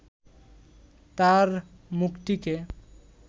তাঁর মুখটিকে